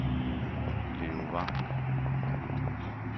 Leon Vang